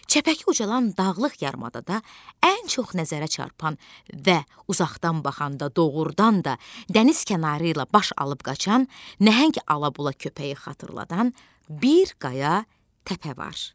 çəpəki ucalan dağlıq yarımadada ən çox nəzərə çarpan və uzaqdan baxanda doğurdan da dəniz kənarı ilə baş alıb qaçan nəhəng alabola köpəyi xatırladan bir qaya təpə var.